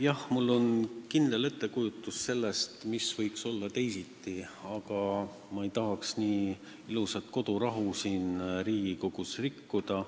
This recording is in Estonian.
Jah, mul on kindel ettekujutus sellest, mis võiks olla teisiti, aga ma ei tahaks seda ilusat kodurahu siin Riigikogus rikkuda.